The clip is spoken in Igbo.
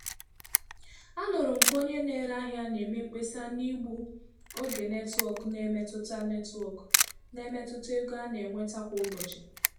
Anụrụ m ka onye na-ere ahịa na-eme mkpesa na igbu oge netwọk na-emetụta netwọk na-emetụta ego a na-enweta kwa ụbọchị.